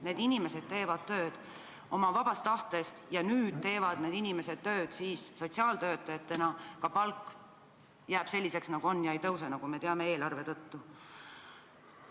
Need inimesed teevad tööd oma vabast tahtest ja nüüd teevad need inimesed tööd sotsiaaltöötajatena ning ka nende palk jääb selliseks, nagu ta on, ega tõuse, nagu me teame, eelarve tõttu.